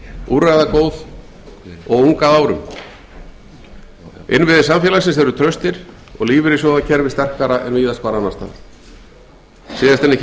úrræðagóð og ung að árum innviðir samfélagsins eru traustir og lífeyrissjóðakerfið sterkara en víðast hvar annars staðar síðast en ekki